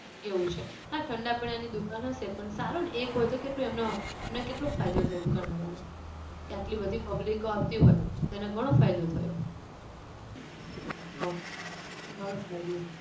એવું છે હા ઠંડા પણાની દુકાન હશે પણ સારું ને એક હોય તો કેટલું એમને એમને કેટલો ફાયદો થાય દુકાનવાળાને કે આટલી બધી public આવતી હોય તેને ઘણો ફાયદો થયો તો ઘણો ફાયદો